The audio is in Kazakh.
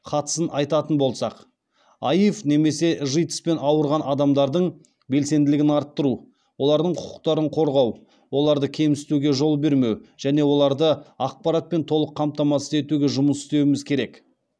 қатысын айтатын болсақ аив немесе житс пен ауырған адамдардың белсенділігін арттыру олардың құқықтарын қорғау оларды кемсітуге жол бермеу және оларды ақпаратпен толық қамтамасыз етуге жұмыс істеуіміз керек